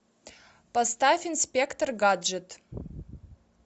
поставь инспектор гаджет